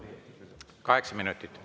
Kaheksa minutit.